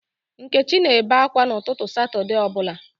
Nkechi na-ebe ákwá n'ụtụtụ Satọde ọbụla